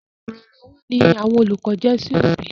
Olùrànlọ́wọ́ ni àwọn olùkọ jẹ́ sí òbí.